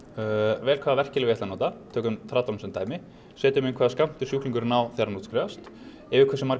vel hvaða verkjalyf ég ætla að nota tökum tradólan sem dæmi setjum inn hvaða skammt sjúklingurinn á þegar hann útskrifast yfir hversu margar